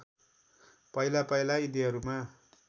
पहिला पहिला यिनीहरूमा